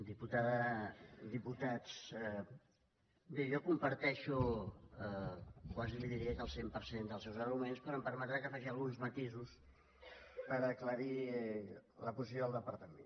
diputada diputats bé jo comparteixo quasi li diria que el cent per cent dels seus arguments però em permetrà que faci alguns matisos per aclarir la posició del departament